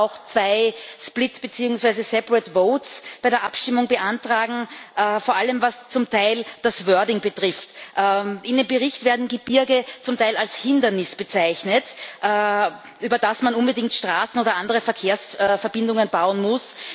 Wir werden aber auch zwei split beziehungsweise separate votes bei der Abstimmung beantragen, vor allem, was zum Teil das wording betrifft. In dem Bericht werden die Gebirge zum Teil als Hindernis bezeichnet, über das man unbedingt Straßen oder andere Verkehrsverbindungen bauen muss.